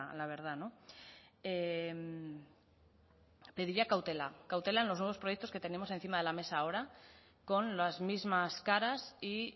la verdad pediría cautela cautela en los nuevos proyectos que tenemos encima de la mesa ahora con las mismas caras y